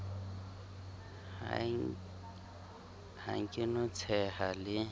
ha ke no tsheha le